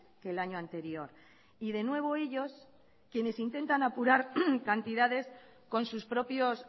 que el año anterior y de nuevo ellos quienes intentan apurar cantidades con sus propios